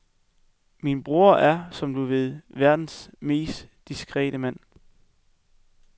Min bror er, som du ved, verdens mest diskrete mand.